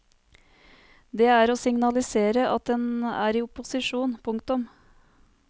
Det er å signalisere at en er i opposisjon. punktum